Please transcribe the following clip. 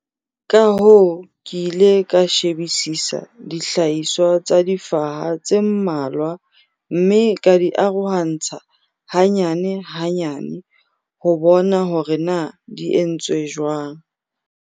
Ka hoo ke ile ka shebisisa dihlahiswa tsa difaha tse mmalwa mme ka di arohantsha hanyane-hanyane ho bona hore na di entswe jwang.